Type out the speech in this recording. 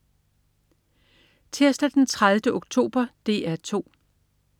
Tirsdag den 30. oktober - DR 2: